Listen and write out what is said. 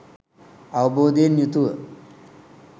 අවබෝධයෙන් යුතුව